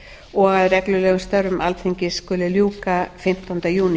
og að reglulegum störfum alþingis skal ljúka fimmtánda júní